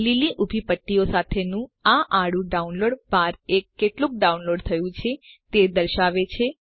લીલી ઊભી પટ્ટીઓ સાથેનું આ આડું ડાઉનલોડ બાર એ કેટલું ડાઉનલોડ થયું છે તે દર્શાવે છે